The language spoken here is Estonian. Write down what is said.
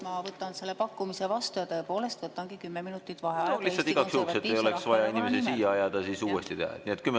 Ma võtan selle pakkumise vastu ja tõepoolest võtangi kümme minutit vaheaega Konservatiivse Rahvaerakonna nimel.